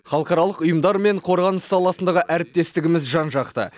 халықаралық ұйымдар мен қорғаныс саласындағы әріптестігіміз жан жақты